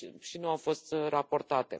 nu au fost raportate.